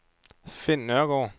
Finn Nørgaard